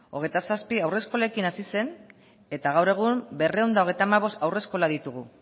hogeita zazpi haurreskolekin hasi zen eta gaur egun berrehun eta hogeita hamabost haurreskola ditugu